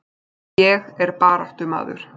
Ég er baráttumaður.